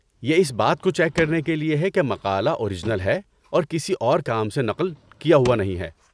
یہ اس بات کو چیک کرنے کے لیے ہے کہ مقالہ اورجنل ہے اور کسی اور کے کام سے نقل کیا ہوا نہیں ہے۔